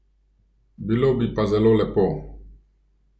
Bilo bi pa zelo lepo!